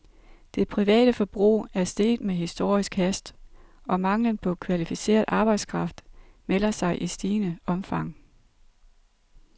Det private forbrug er steget med historisk hast, og manglen på kvalificeret arbejdskraft melder sig i stigende omfang.